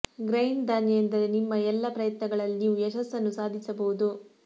grind ಧಾನ್ಯ ಎಂದರೆ ನಿಮ್ಮ ಎಲ್ಲ ಪ್ರಯತ್ನಗಳಲ್ಲಿ ನೀವು ಯಶಸ್ಸನ್ನು ಸಾಧಿಸಬಹುದು